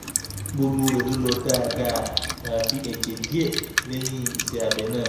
gbogbo rẹ̀ sì lọ dáadáa àyàfi ẹ̀jẹ̀ díẹ̀ lẹ́yìn iṣẹ́ abẹ náà